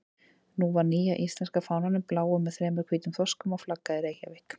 Nú var nýja íslenska fánanum, bláum með þremur hvítum þorskum á, flaggað í Reykjavík.